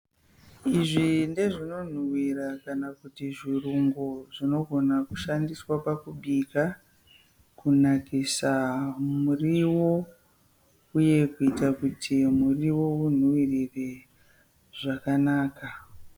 Izvi ndezvinonhuhwira kana kuti zvirungu zvinogona kushandiswa pakubika kunakisa muriwo uye kuti muriwo unhuhwirire zvakanaka.